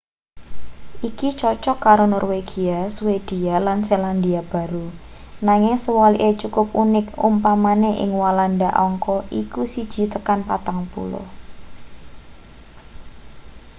iki cocok karo norwegia swedia lan selandia baru nanging sewalike cukup unik upamane ing walanda angka iku siji tekan patang puluh